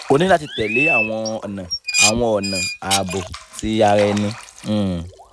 o ni lati tẹle awọn ọna awọn ọna aabo ti ara ẹni um